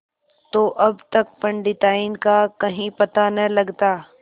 तो अब तक पंडिताइन का कहीं पता न लगता